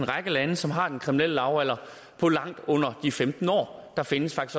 række lande som har en kriminel lavalder på langt under de femten år der findes